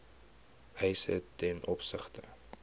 eise ten opsigte